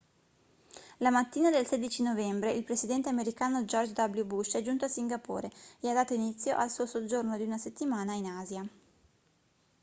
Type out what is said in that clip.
la mattina del 16 novembre il presidente americano george w bush è giunto a singapore e ha dato inizio al suo soggiorno di una settimana in asia